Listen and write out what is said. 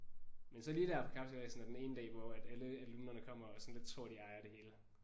Men så lige der på kapsejladsen er den ene dag hvor at alle alumnerne kommer og sådan lidt tror at de ejer det hele